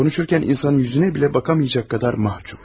Konuşurken insanın yüzüne bile bakamayacak kadar mahçup.